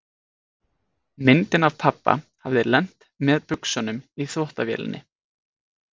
Myndin af pabba hafði lent með buxunum í þvottavélinni.